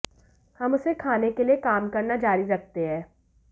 हम उसे खाने के लिए काम करना जारी रखते हैं